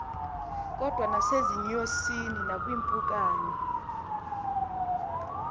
kodwa nasezinyosini nakwiimpukane